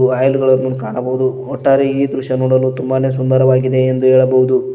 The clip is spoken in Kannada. ಫೈಲ ಗಳನ್ನು ಕಾಣಬಹುದು ಒಟ್ಟಾರೆ ಈ ದೃಶ್ಯ ನೋಡಲು ತುಂಬಾನೇ ಸುಂದರವಾಗಿದೆ ಎಂದು ಹೇಳಬಹುದು.